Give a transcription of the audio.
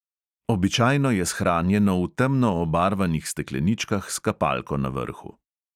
Običajno je shranjeno v temno obarvanih stekleničkah s kapalko na vrhu.